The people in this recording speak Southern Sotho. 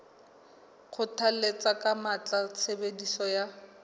kgothalletsa ka matla tshebediso ya